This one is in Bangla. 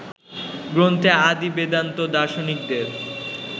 গ্রন্থে আদি বেদান্ত দার্শনিকদের